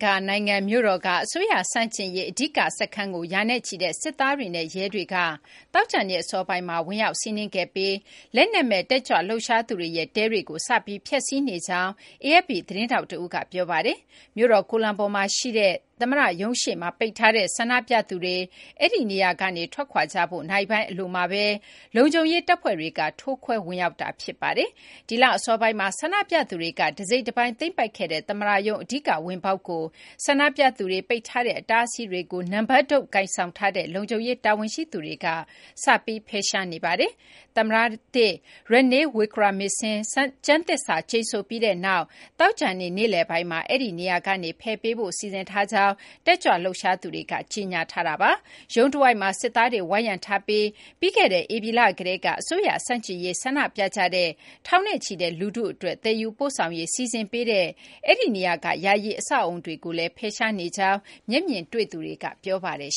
ကာၤနိုင်ငံ မြို့တော်က အစိုးရ ဆန့်ကျင်ရေး အဓိက စခန်းကို ရာနဲ့ချီတဲ့ စစ်သားတွေနဲ့ ရဲတွေက သောကြာနေ့ အစောပိုင်းမှာ ဝင်ရောက်စီးနင်းခဲ့ပြီး လက်နက်မဲ့ တက်ကြွလှုပ်ရှားသူတွေ စခန်းချထားတဲ့ ယာယီတဲတွေကို ရှင်းလင်းနကြောင်း AFP သတင်းထောက် တဦးက ပြောပါတယ်။ မြို့တော်ကိုလံဘိုမှာ ရှိတဲ့ သမ္မတရုံးရှေ့မှာ ပိတ်ထားတဲ့ ဆန္ဒပြသူတွေ အဲဒီ နေရာကနေ ထွက်ခွာကြဖို့ နာရီပိုင်းအလိုမှာဘဲ လုံခြုံရေး တပ်ဖွဲ့တွေက ဖြိုခွဲခဲ့တာ ဖြစ်ပါတယ်။ ဒီလ အစောပိုင်းက ဆန္ဒပြသူတွေက တစိတ်တပိုင်း သိမ်းပိုက်ခဲ့တဲ့ သမ္မတရုံး အဓိက ဝင်ပေါက်ကို ဆန္ဒပြသူတွေက ပိတ်ထားတဲ့ အတားအဆီးတွေကို နံပတ်တုတ် ကိုင်ဆောင်ထားတဲ့ လုံခြုံရေး တာဝန်ရှိသူတွေက စပြီး ဖယ်ရှားနေပါတယ်။ သမ္မတသစ် Ranil Wickremesinghe ကျမ်းသစ္စာကျိန်ဆိုပြီးနောက် သောကြာနေ့ နေ့လည်ပိုင်းက အဲဒီနေရာကနေ ဖယ်ပေးဖို့ စီစဉ်ထားကြောင်း တက်ကြွလှုပ်ရှားသူတွေက ကြေညာထားတာပါ။ ရုံး တဝိုက်မှာ စစ်သားတွေ ဝိုင်းရံထားပြီး ပြီးခဲ့တဲ့ ဧပြီလ ကတည်းက အစိုးရ ဆန့်ကျင်ရေး ဆန္ဒပြကြတဲ့ ထောင်ချီတဲ့ လူထုအတွက် သယ်ယူပို့ဆောင်ရေး စီစဉ်ပေးတဲ့ အဲဒီနေရာက ယာယီ အဆောက်အအုံတွေကိုလည်း ဖယ်ရှားနေကြောင်း မျက်မြင်တွေ့သူတွေက ပြောပါတယ်